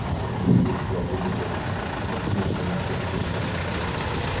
а из-за жизни тоже очевидно что в москве жить лучше чем в новосибирске